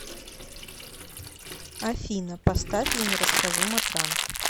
афина поставь я не расскажу матранг